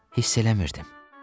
Hiss eləmirdim.